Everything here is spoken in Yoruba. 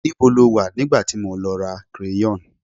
níbo lo wa nigba ti mo lọ ra crayon